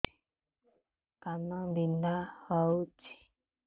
କାନ ବିନ୍ଧା ହଉଛି